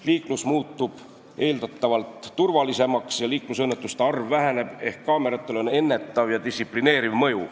Liiklus muutub eeldatavalt turvalisemaks ja liiklusõnnetuste arv väheneb ehk kaameratel on ennetav ja distsiplineeriv mõju.